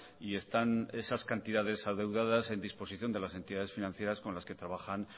y están esas cantidades adeudadas en disposición de las entidades financieras con las que trabajan